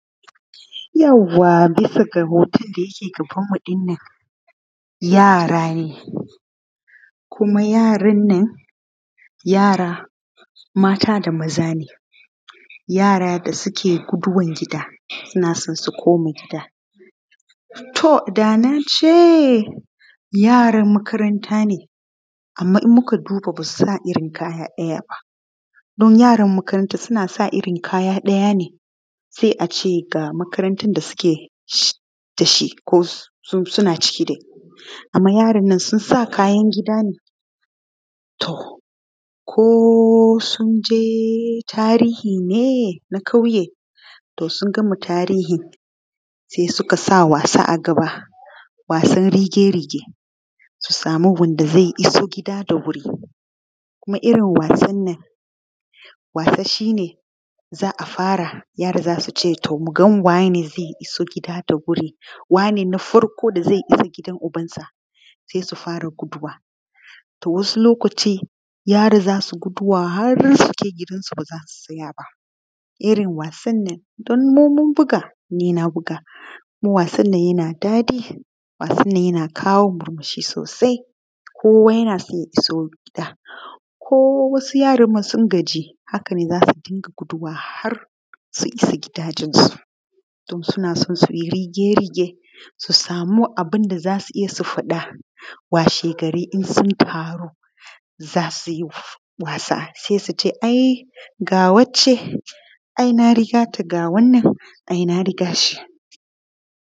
Yauwa bisa ga hoton da yake gabanmu ɗin nan yara ne kuma yaran nan mata da maza ne, yara da suke guduwan gida suna son su koma gida. To da na ce yaran makaranta ne amma in muka duba ba su sa irin kaya ɗaya ba, don yaran makaranta suna sa irin kaya ɗaya ne sai a ce ga makarantan da suke ciki. Amma yarannan sun sa kayan gida ne, to ko sun je tarihi ne na ƙauye to sun gama tarihin sai su ka sa wasa a gaba, wasan rige-rige su sama wanda ze iso gida da wuri. Kuma irin wannan wasa shine za a fara yara sai su ce mu ga wanene zai iso gida da wuri, wane na farko da zai iso gidan uban sa sai su fara guduwa. To wasu irin wannan wasa mu mun buga, nima na buga wannan, yana daɗi, yana kawo murmushi. Kowa yana son ya iso gida ko wasu ne sun gaji hakan zasu dinga guduwa har su isa gidajensu don suna son su yi rige-rige su sama abin da za su je su faɗa washe gari. In sun samu za su yi wasa sai su ce ai ga wacce, ai na riga ta, ga wannan ai na riga shi.